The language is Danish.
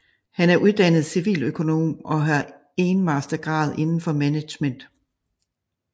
Han er uddannet civiløkonom og har enmastergrad indenfor management